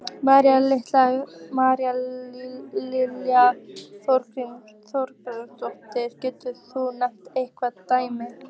María Lilja Þrastardóttir: Getur þú nefnt einhver dæmi?